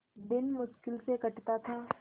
दिन मुश्किल से कटता था